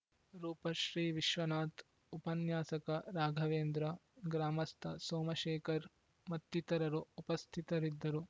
ರೂಪಶ್ರೀವಿಶ್ವನಾಥ್ ಉಪನ್ಯಾಸಕ ರಾಘವೇಂದ್ರ ಗ್ರಾಮಸ್ಥ ಸೋಮಶೇಖರ್ ಮತ್ತಿತರರು ಉಪಸ್ಥಿತರಿದ್ದರು